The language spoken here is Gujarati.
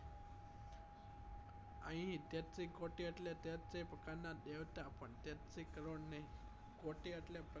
અહી તેત્રી કોટી એટલે તેત્રી પ્રકાર ના દેવતા પણ તેત્રી કરોડ નહી કોટી એટલે પ્રકાર